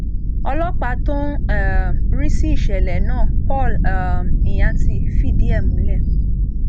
ọlọpàá tó ń um rí sí ìṣẹlẹ náà paul um nyathi fìdí ẹ múlẹ